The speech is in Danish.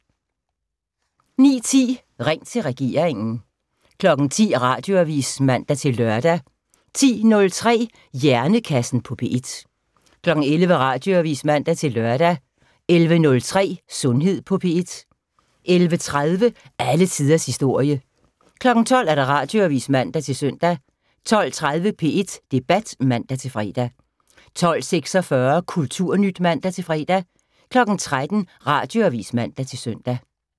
09:10: Ring til regeringen 10:00: Radioavis (man-lør) 10:03: Hjernekassen på P1 11:00: Radioavis (man-lør) 11:03: Sundhed på P1 11:30: Alle tiders historie 12:00: Radioavis (man-søn) 12:20: P1 Debat (man-fre) 12:46: Kulturnyt (man-fre) 13:00: Radioavis (man-søn)